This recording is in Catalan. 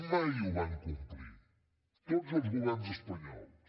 mai ho van complir tots els governs espanyols